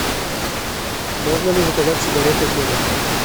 можно ли заказать сигареты в номер